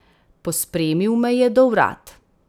Pospremil me je do vrat.